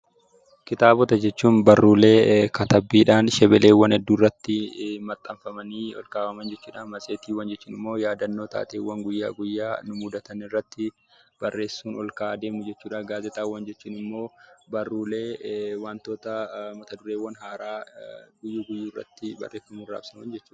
Kitaaba jechuun barruulee katabbiidhaan shebelee hedduurratti maxxanfamanii ol kaawwaman jechuudha. Matseetii jechuun immoo yaadannoo taateewwan guyyaa guyyaatti mudatan irratti barreessuun ol kaa'aa adeemuu jechuudha. Gaazexaawwan jechuun immoo barruulee mata dureewwan haaraa barreeffamuun raabsamanidha.